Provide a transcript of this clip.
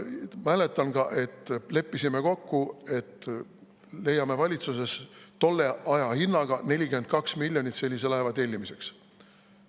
Mäletan ka, kuidas me leppisime kokku, et leiame valitsuses tolle aja hinnaga 42 miljonit sellise laeva tellimiseks.